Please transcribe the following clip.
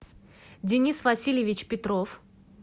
денис васильевич петров